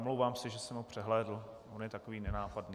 Omlouvám se, že jsem ho přehlédl, on je takový nenápadný.